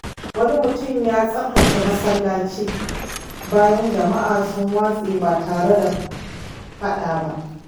Wani mutum ya tsaftace masallaci bayan jama’a sun watse ba tare da faɗa ba.